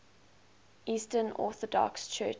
eastern orthodox churches